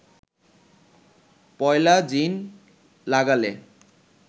পয়লা জিন লাগালে